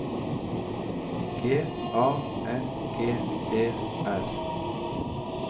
G A N G E R